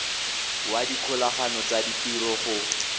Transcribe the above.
wa dikgolagano tsa ditiro go